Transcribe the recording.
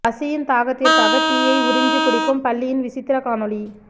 பசியின் தாகத்திற்காக டீ யை உறிஞ்சு குடிக்கும் பல்லியின் விசித்திர காணொளி